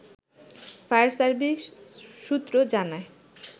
fire service সূত্র জানায়